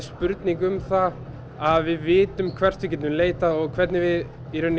spurning um það að við vitum hvert við getum leitað og hvernig við